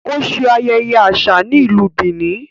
O ṣe ayẹyẹ aṣa ni Ilú Benin